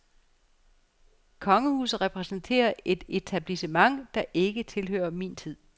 Kongehuset repræsenterer et etablissement, der ikke tilhører min tid.